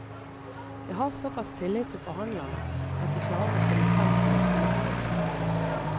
Jeg har såpass tillit til forhandlerne at de klarer å komme frem til et fornuftig resultat.